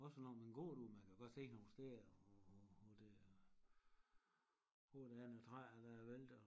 Også når man går derude man kan godt se nogle steder hvor hvor det er hvor der er nogle træer der er væltet og